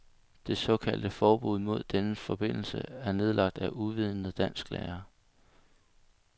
Det såkaldte forbud mod denne forbindelse er nedlagt af uvidende dansklærere.